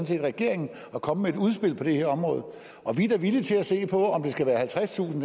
set regeringen at komme med et udspil på det her område og vi er da villige til at se på om det skal være halvtredstusind